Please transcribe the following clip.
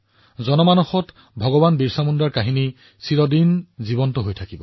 জনসাধাৰণৰ মনত ভগৱান বিৰচা মুণ্ডা চিৰকালৰ বাবে থাকিব